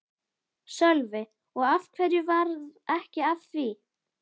Sölvi: Og af hverju varð ekki af því?